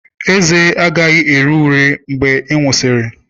Ezé agaghị ere ure mgbe ị nwụsịrị.